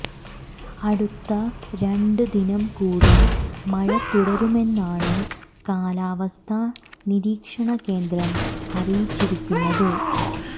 അടുത്ത രണ്ട് ദിനം കൂടി മഴ തുടരുമെന്നാണ് കാലാവസ്ഥ നിരീക്ഷണ കേന്ദ്രം അറിയിച്ചിരിക്കുന്നത്